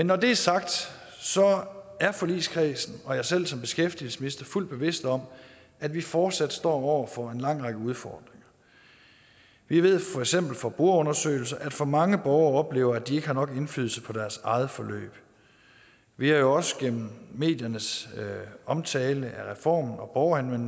når det er sagt er forligskredsen og jeg selv som beskæftigelsesminister fuldt bevidste om at vi fortsat står over for en lang række udfordringer vi ved for eksempel fra brugerundersøgelser at for mange borgere oplever at de ikke har nok indflydelse på deres eget forløb vi har jo også gennem mediernes omtale af reformen og